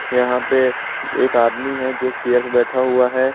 यहां पे एक आदमी है जो चेयर पे बैठा हुआ है।